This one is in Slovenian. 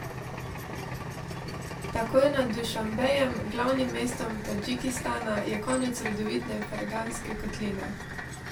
Takoj nad Dušanbejem, glavnim mestom Tadžikistana, je konec rodovitne Ferganske kotline.